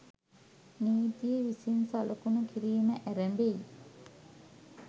නීතිය විසින් සලකුණු කිරීම ඇරඹෙයි.